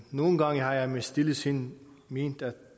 nogle gange har jeg i mit stille sind ment at